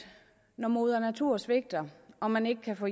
når moder natur svigter og man ikke kan få